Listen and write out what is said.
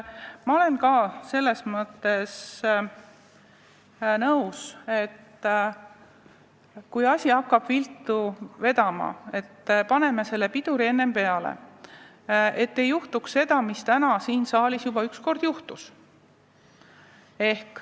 Ma olen sellega nõus, et kui asi hakkab viltu vedama, siis paneme piduri peale, et ei juhtuks seda, mis täna siin saalis juba juhtus.